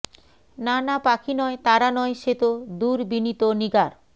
না না পাখি নয় তারা নয় সে তো দুর্বিনীত নিগার